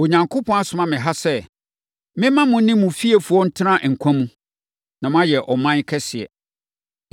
Onyankopɔn asoma me ha sɛ, memma mo ne mo fiefoɔ ntena nkwa mu, na moayɛ ɔman kɛseɛ.